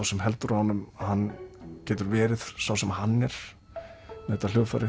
sem heldur á honum getur verið sá sem hann er með þetta hljóðfæri